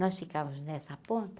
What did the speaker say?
Nós ficávamos nessa ponta.